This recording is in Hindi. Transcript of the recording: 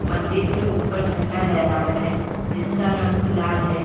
मंदिर के ऊपर झंडा लहरा रहा है जिसका रंग लाल है।